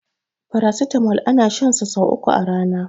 paracetamol ana shan sa sai uku a Rana